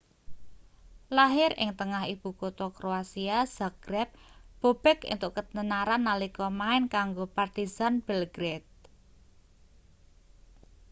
lahir ing tengah ibu kutha kroasia zagreb bobek entuk ketenaran nalika main kanggo partizan belgrade